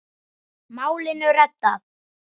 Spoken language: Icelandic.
Málinu reddað.